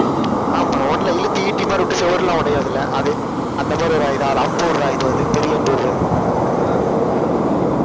ஆமா, ஒண்ணுல இழுத்து ஈட்டி மாதிரி விட்டு சுவர் எல்லாம் உடையாது இல்ல? அது, அந்த மாதிரி, ஒரு அம்பு உடறது, இது வந்து பெரிய அம்பு உடறது